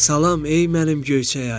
Salam, ey mənim göyçək ayım!